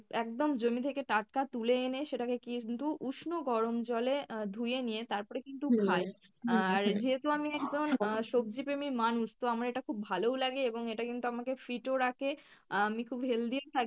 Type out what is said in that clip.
একদম জমি থেকে টাটকা তুলে এনে সেটাকে কিন্তু উষ্ণ গরম জলে আহ ধুয়ে নিয়ে তারপরে কিন্তু খাই, আর যেহেতু সবজি প্রেমি মানুষ তো আমার এটা খুব ভালোও লাগে এবং এটা কিন্তু আমাকে fit ও রাখে, আহ আমি খুব healthy থাকি